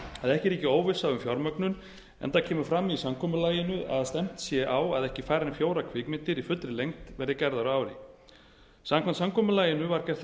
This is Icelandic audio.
að ekki ríki óvissa um fjármögnun enda kemur fram í samkomulaginu að stefnt sé á að ekki færri en fjórar kvikmyndir í fullri lengd verði gerðar á ári samkvæmt samkomulaginu var gert ráð fyrir